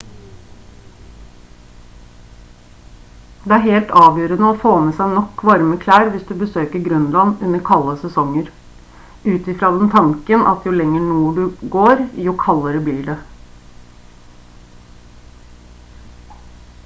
det er helt avgjørende å få med seg nok varme klær hvis du besøker grønland under kalde sesonger ut i fra den tanken at jo lenger nord du går jo kaldere blir det